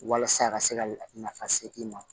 Walasa a ka se ka nafa se i ma